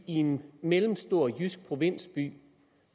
i en mellemstor jysk provinsby